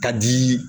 Ka di